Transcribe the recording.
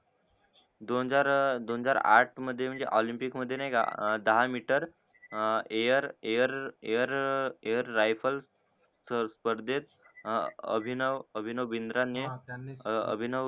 दोंजार अं दोंजार आठ माडे नाय का air air air air rifle स्पर्देत अभिनव भिन्द्रानें